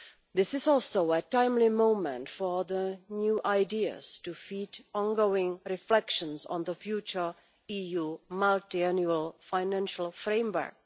This is also a timely moment for the new ideas to feed ongoing reflections on the future EU Multiannual Financial Framework.